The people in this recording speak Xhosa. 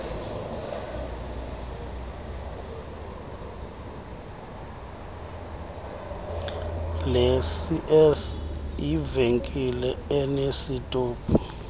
lecs yivenkile enesitophu